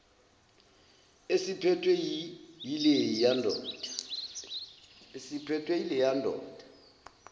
esiphethwe yileya ndoda